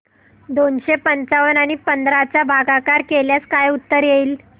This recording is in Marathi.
दोनशे पंच्याण्णव आणि पंधरा चा भागाकार केल्यास काय उत्तर येईल